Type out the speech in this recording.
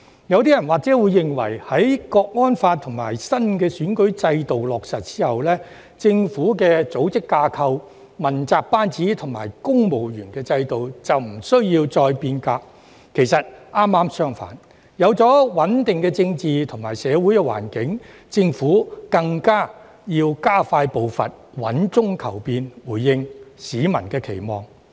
有部分人或會認為，在《香港國安法》及新選舉制度落實後，政府的組織架構、問責班子及公務員制度便無需再變革；其實剛好相反，有了穩定的政治及社會環境，政府更要加快步伐，穩中求變，回應市民期望。